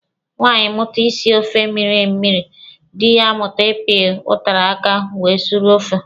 Nwaanyị mụta isi ofe mmịrị mmịrị, dị ya amụta ịpị ụtara aka were suru ofe.